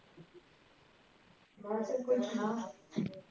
ਬੱਸ push ਨਾਂ